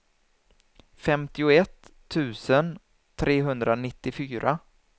femtioett tusen trehundranittiofyra